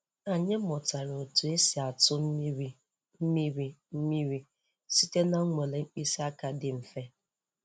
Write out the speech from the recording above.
Anyị mụtara otu esi atụ mmiri mmiri mmiri site na nnwale mkpịsị aka dị mfe.